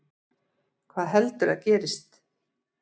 Hvað heldurðu að gerist?